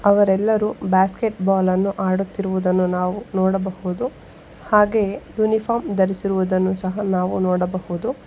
ಅವರೆಲ್ಲರೂ ಬಾಸ್ಕೆಟ್ಬಾಲ್ ಅನ್ನು ಆಡುತ್ತಿರುವುದನ್ನು ನಾವು ನೋಡಬಹುದು ಹಾಗೆ ಯೂನಿಫಾರ್ಮ್ ಧರಿಸಿರುವುದನ್ನು ಸಹ ನಾವು ನೋಡಬಹುದು.